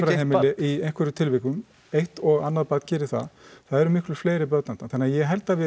í einhverjum tilvikum eitt og annað barn geri það það eru miklu börn þarna þannig að ég held að við